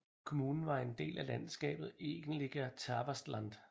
Kommunen er en del af landskabet Egentliga Tavastland